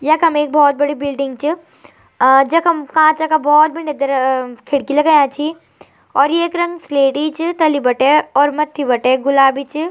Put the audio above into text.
यखम एक भोत बड़ी बिल्डिंग च और जखम कांच का भोत बंड्या ग्र खिड़की लगाया छी और येक रंग स्लेटी च तल्ली बटे और मथ्थी बटे गुलबी च।